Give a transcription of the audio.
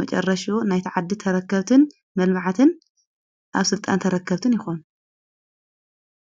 መጨረሽ ናይተዓድ ተረከብትን መልባዕትን ኣብ ሥልጣን ተረከብትን ይኾኑ አዮም።